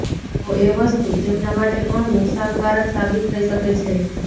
તો એ વસ્તુ તેમના માટે ઘણું નુકશાનકારક સાબિત થઇ શકે છે